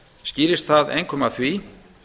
skýrist það einkum af því